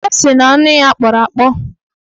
Ọ sị na anụ ya kpọrọ akpọ